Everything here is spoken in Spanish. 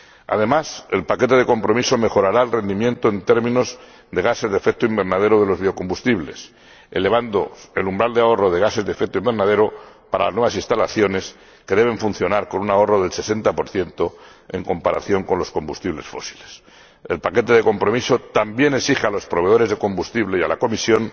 Además, el paquete de compromiso mejorará el rendimiento en términos de gases de efecto invernadero de los biocombustibles, elevando el umbral de ahorro de gases de efecto invernadero para las nuevas instalaciones, que deben funcionar con un ahorro del 60 en comparación con los combustibles fósiles. El paquete de compromiso también exige a los proveedores de combustible y a la Comisión